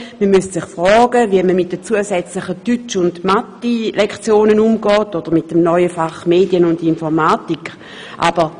Man müsste sich fragen, wie man mit den zusätzlichen Deutsch- und Mathematiklektionen oder mit dem neuen Fach Medien und Informatik umgehen will.